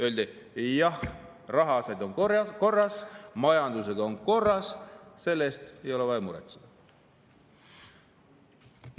Öeldi: jah, rahaasjad on korras, majandusega on korras, selle pärast ei ole vaja muretseda.